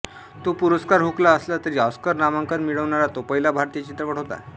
तो पुरस्कार हुकला असला तरी ऑस्कर नामांकन मिळवणारा तो पहिला भारतीय चित्रपट होता